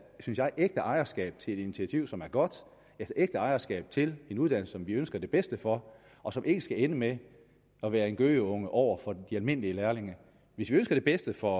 et ægte ejerskab til et initiativ som er godt et ægte ejerskab til en uddannelse som vi ønsker det bedste for og som ikke skal ende med at være en gøgeunge over for de almindelige lærlinge hvis vi ønsker det bedste for